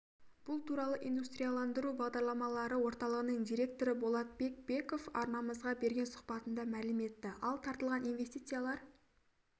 бұл туралы индустрияландыру бағдарламалары орталығының директоры болатбек беков арнамызға берген сұхбатында мәлім етті ал тартылған инвестициялар